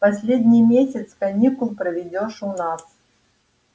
последний месяц каникул проведёшь у нас